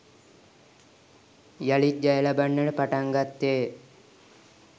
යළිත් ජය ලබන්නට පටන් ගත්තේ ය